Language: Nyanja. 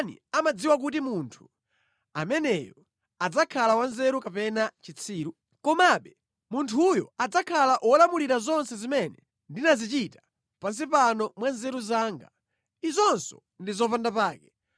Ndipo ndani amadziwa kuti munthu ameneyo adzakhala wanzeru kapena chitsiru? Komabe munthuyo adzakhala wolamulira zonse zimene ndinazichita pansi pano mwa nzeru zanga. Izinso ndi zopandapake.